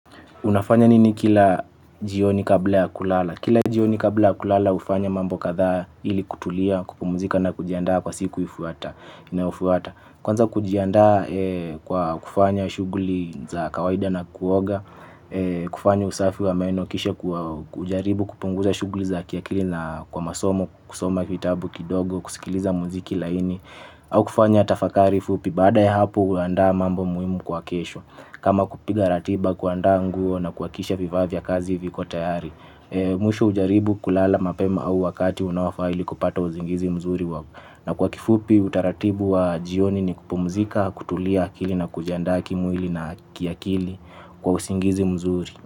Unafanya nini kila jioni kabla ya kulala? Kila jioni kabla ya kulala ufanya mambo kadhaa ili kutulia, kupumuzika na kujiandaa kwa siku inayofuata. Kwanza kujiandaa kwa kufanya shuguli za kawaida na kuoga, kufanya usafi wa meno kisha kujaribu kupunguza shuguli za kiakili na kwa masomo, kusoma kitabu kidogo, kusikiliza muziki laini. Au kufanya tafakari fupi baada ya hapo huandaa mambo muhimu kwa kesho. Kama kupiga ratiba kuandaa nguo na kuakisha vivaa vya kazi viko tayari. Mwisho hujaribu kulala mapema au wakati unaofaa ili kupata uzingizi mzuri wako. Na kwa kifupi utaratibu wa jioni ni kupumzika kutulia akili na kujiandaa kimwili na kiakili kwa usingizi mzuri.